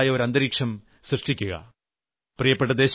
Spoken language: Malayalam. നാട്ടിൽ അതിന്റേതായ ഒരു അന്തരീക്ഷം സൃഷ്ടിക്കുക